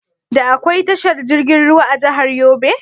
Da akwai tashar jirgin ruwa a jahar Yobe?